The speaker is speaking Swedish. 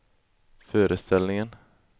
föreställningen